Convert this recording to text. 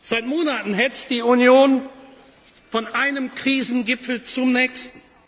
Seit Monaten hetzt die Union von einem Krisengipfel zum nächsten.